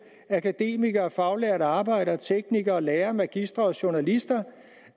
med akademikere faglærte arbejdere teknikere lærere magistre og journalister